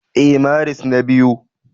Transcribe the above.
Ee, Maris na biyu